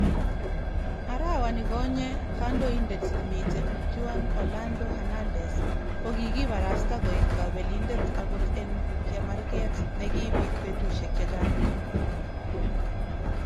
Arawanikonyee , kandoindet nemiten Juan Orlando Hernandez kokikibarasta koek kabelindet akot en cheemarkeet nekibiit betusiek chechang.